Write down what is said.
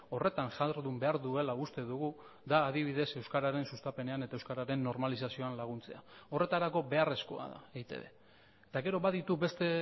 horretan jardun behar duela uste dugu da adibidez euskararen sustapenean eta euskararen normalizazioan laguntzea horretarako beharrezkoa da eitb eta gero baditu beste